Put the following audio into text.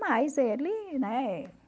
Mas ele, né?